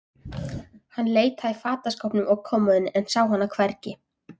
Hann leitaði í fataskápnum og kommóðunni, en sá hana hvergi.